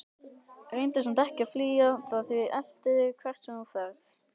Reyndu samt ekki að flýja það því það eltir þig hvert sem þú ferð.